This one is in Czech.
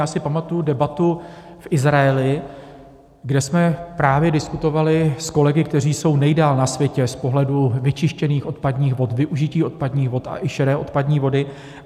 Já si pamatuji debatu v Izraeli, kde jsme právě diskutovali s kolegy, kteří jsou nejdál na světě z pohledu vyčištěných odpadních vod, využití odpadních vod a i šedé odpadní vody.